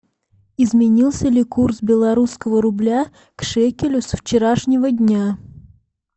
изменился ли курс белорусского рубля к шекелю со вчерашнего дня